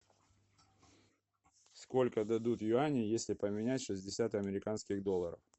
сколько дадут юаней если поменять шестьдесят американских долларов